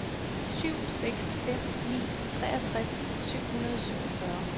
syv seks fem ni treogtres syv hundrede og syvogfyrre